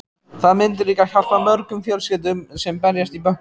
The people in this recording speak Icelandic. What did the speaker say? Það myndi líka hjálpa mörgum fjölskyldum sem berjast í bökkum.